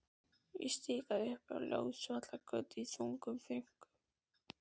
Ég stikaði upp á Ljósvallagötu í þungum þönkum.